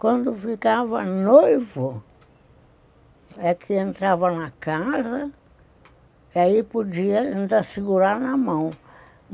Quando ficava noivo, é que entrava na casa, e aí podia ainda segurar na mão.